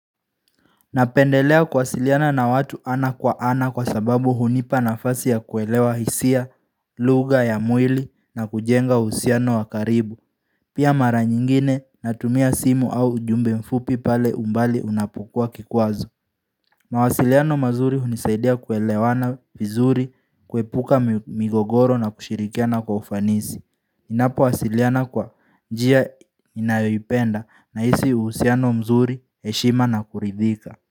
Napendelea kuwasiliana na watu ana kwa ana kwa sababu hunipa nafasi ya kuelewa hisia, lugha ya mwili na kujenga uhusiano wa karibu Pia mara nyingine natumia simu au ujumbe mfupi pale umbali unapokuwa kikwazo mawasiliano mazuri hunisaidia kuelewana vizuri, kuepuka migogoro na kushirikiana kwa ufanisi Ninapowasiliana kwa njia ninayoipenda nahisi uhusiano mzuri, heshima na kuridhika.